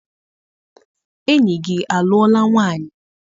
Enyi gị alụọla nwaanyị?